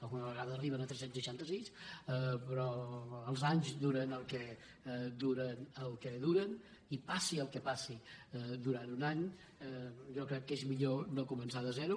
alguna vegada arriben a tres cents i seixanta sis però els anys duren el que duren i passi el que passi durant un any jo crec que és millor no començar de zero